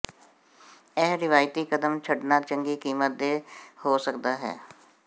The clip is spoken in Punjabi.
ਇਹ ਰਵਾਇਤੀ ਕਦਮ ਛੱਡਣਾ ਚੰਗੀ ਕੀਮਤ ਦੇ ਹੋ ਸਕਦਾ ਹੈ